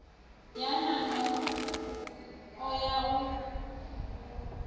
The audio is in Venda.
ya nan o ya u